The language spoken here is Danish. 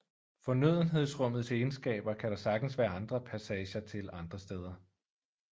Fornødenhedsrummets egenskaber kan der sagtens være andre passager til andre steder